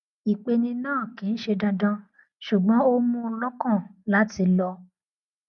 ìpeni náà kì í ṣe dandan ṣùgbọn ó mú un lọkàn láti lọ